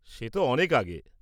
সে তো অনেক আগে।